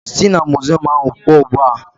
Si na muziọm ahụ pụọ ugbu a!